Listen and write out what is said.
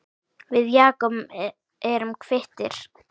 Við Jakob erum kvittir